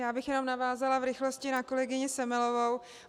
Já bych jenom navázala v rychlosti na kolegyni Semelovou.